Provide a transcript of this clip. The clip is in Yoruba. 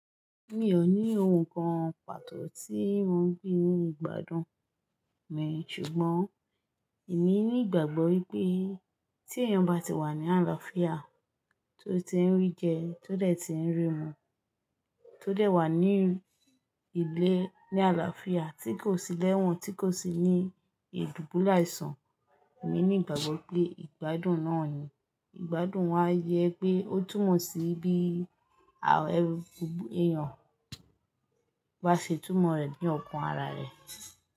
Mi ò ní ohun kan pàtó tí mò ń gbìn ní ìgbádùn mí ṣùgbọ́n. Èmi ní ìgbàgbọ́ wípé tí èèyàn bá ti wà ní àlàáfíà, tó ti ń rí jẹ, tó dẹ̀ ti ń rí mu, tó dẹ̀ wà ní ilé ní àlàáfíà, tí kò sí lẹ́wọ̀n, tí kò sì ní idùbùlẹaìsàn, èmi ní ìgbàgbọ́ pé ìgbádùn náà ni. Ìgbádùn wá yẹ pé ó túmọ̀ sí bí àwọn èèyàn bá ṣe túmọ̀ rẹ̀ ní ọkàn ara rẹ̀.